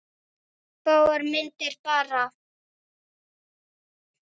Örfáar myndir bara.